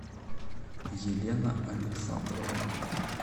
елена александровна